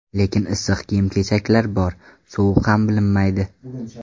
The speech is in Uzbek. Lekin issiq kiyim-kechaklar bor, sovuq ham bilinmaydi.